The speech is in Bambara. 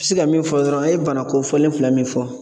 se ka min fɔ dɔrɔn a' ye bana kofɔlen fila min fɔ